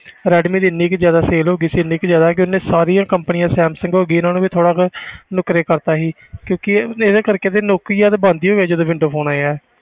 Redmi ਦੀ ਇੰਨੀ ਕੁ ਜ਼ਿਆਦਾ sale ਹੋ ਗਈ ਸੀ ਇੰਨੀ ਕੁ ਜ਼ਿਆਦਾ ਕਿ ਉਹਨੇ ਸਾਰੀਆਂ companies ਸੈਮਸੰਗ ਹੋ ਗਈ ਇਹਨਾਂ ਨੂੰ ਵੀ ਥੋੜ੍ਹਾ ਜਿਹਾ ਨੁਕਰੇ ਕਰ ਦਿੱਤਾ ਸੀ ਕਿਉਂਕਿ ਇਹ ਇਹਦੇ ਕਰਕੇ ਤੇ ਨੋਕੀਆ ਤਾਂ ਬੰਦ ਹੀ ਹੋ ਗਏ ਜਦੋਂ window phone ਆਏ ਆ।